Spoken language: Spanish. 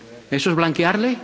¿Eso es blanquearle?